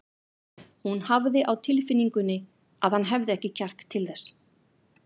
Hún hafði á tilfinningunni að hann hefði ekki kjark til þess.